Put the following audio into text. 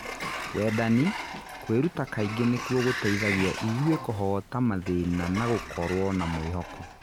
Wendani, kũĩruta kaingĩ nĩkuo gũteithagia ithũĩ kũhoota mathĩna na gũkorwo na mwĩhoko.